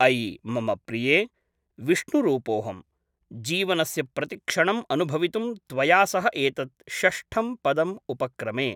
अयि! मम प्रिये, विष्णुरूपोऽहं, जीवनस्य प्रतिक्षणम् अनुभवितुं त्वया सह एतत् षष्ठं पदम् उपक्रमे।